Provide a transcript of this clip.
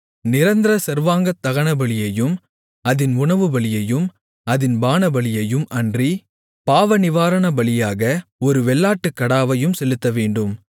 நிரந்தர சர்வாங்கதகனபலியையும் அதின் உணவுபலியையும் அதின் பானபலியையும் அன்றி பாவநிவாரணபலியாக ஒரு வெள்ளாட்டுக்கடாவையும் செலுத்தவேண்டும்